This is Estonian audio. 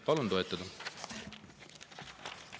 Palun toetada!